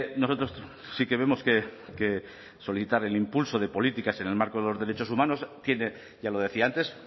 nosotros sí que vemos que solicitar el impulso de políticas en el marco de los derechos humanos tiene ya lo decía antes